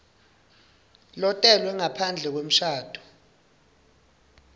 lotelwe ngaphandle kwemshado